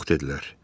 Yox dedilər.